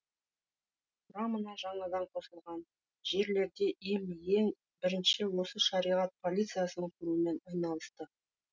құрамына жаңадан қосылған жерлерде им ең бірінші осы шариғат полициясын құрумен айналысты